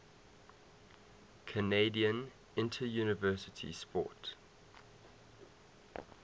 canadian interuniversity sport